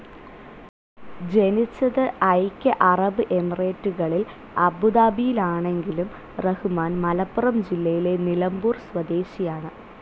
ജനിച്ചത് ഐക്യ അറബ് എമിറേറ്റുകളിൽ അബുദാബിയിലാണെങ്കിലും റഹ്‌മാൻ മലപ്പുറം ജില്ലയിലെ നിലമ്പൂർ സ്വദേശിയാണ്.